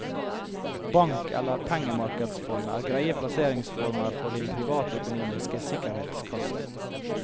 Bank eller pengemarkedsfond er greie plasseringsformer for din privatøkonomiske sikkerhetskasse.